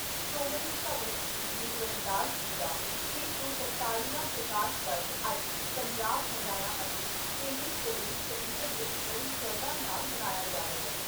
ਸ਼੍ਰੋਮਣੀ ਭਗਤ ਸ਼੍ਰੀ ਗੁਰੂ ਰਵਿਦਾਸ ਜੀ ਦਾ ਛੇ ਸੌ ਤਰਤਾਲ਼ੀਵਾਂ ਪ੍ਰਕਾਸ਼ ਪਰਬ ਅੱਜ ਪੰਜਾਬ, ਹਰਿਆਣਾ ਅਤੇ ਕੇਂਦਰੀ ਪ੍ਰਦੇਸ਼ ਚੰਡੀਗੜ੍ਹ ਵਿਚ ਬੜੀ ਸ਼ਰਧਾ ਨਾਲ਼ ਮਨਾਇਆ ਜਾ ਰਿਹਾ।